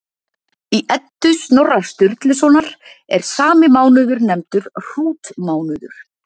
Í Eddu Snorra Sturlusonar er sami mánuður nefndur hrútmánuður.